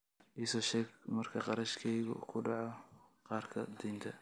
i soo sheeg marka qarashkaygu ku dhaco kaarka deynta